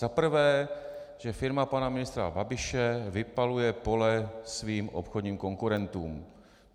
Za prvé, že firma pana ministra Babiše vypaluje pole svým obchodním konkurentům.